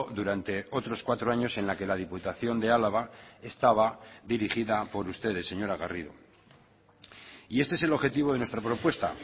durante otros cuatro años en la que la diputación de álava estaba dirigida por ustedes señora garrido y este es el objetivo de nuestra propuesta